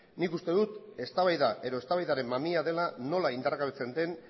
nik uste dut eztabaida edo eztabaidaren mamia dela nola indargabetzen den